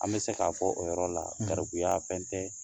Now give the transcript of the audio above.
An be se ka fɔ o yɔrɔ la , garibuya fɛn tɛ